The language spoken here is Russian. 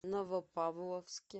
новопавловске